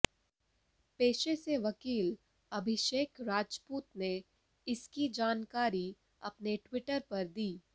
पेशे से वकील अभिषेक राजपूत ने इसकी जानकारी अपने ट्विटर पर दी